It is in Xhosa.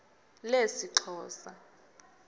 lesixhosa